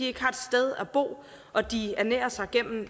ikke har et sted at bo og de ernærer sig gennem